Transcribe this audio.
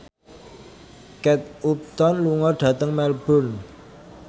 Kate Upton lunga dhateng Melbourne